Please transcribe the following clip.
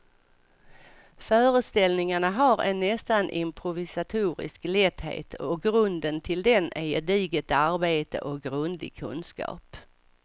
Föreställningarna har en nästan improvisatorisk lätthet och grunden till den är gediget arbete och grundlig kunskap.